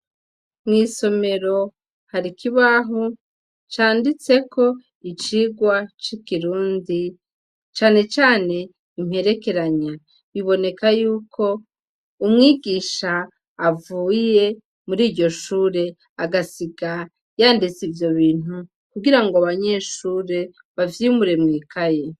Mw'isomero harikibahu canditseko icirwa c'ikirundi canecane imperekeranya biboneka yuko umwigisha avuye muri iryo shure agasiga yanditse ivyo bintu kugira ngo abanyenshure bavyimure mwikaye.